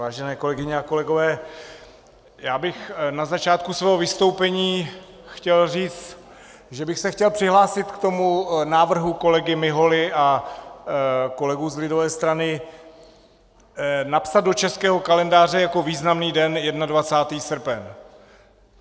Vážené kolegyně a kolegové, já bych na začátku svého vystoupení chtěl říct, že bych se chtěl přihlásit k tomu návrhu kolegy Miholy a kolegů z lidové strany napsat do českého kalendáře jako významný den 21. srpen.